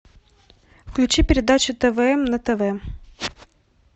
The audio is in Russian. включи передачу твм на тв